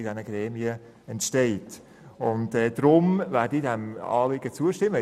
Deshalb werde ich diesem Anliegen zustimmen.